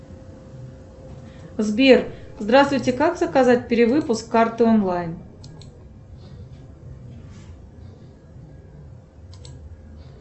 сбер здравствуйте как заказать перевыпуск карты онлайн